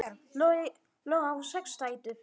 Logi á sex dætur.